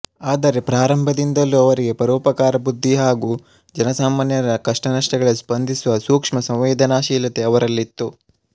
ಆದರೆ ಪ್ರಾರಂಭದಿಂದಲೂ ಅವರಿಗೆ ಪರೋಪಕಾರ ಬುದ್ಧಿ ಹಾಗೂ ಜನಸಾಮಾನ್ಯರ ಕಷ್ಟನಷ್ಟಗಳಿಗೆ ಸ್ಪಂದಿಸುವ ಸೂಕ್ಷ್ಮ ಸಂವೇದನಾಶೀಲತೆ ಅವರಲ್ಲಿತ್ತು